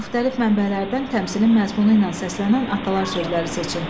Müxtəlif mənbələrdən təmsilin məzmunu ilə səslənən atalar sözləri seçin.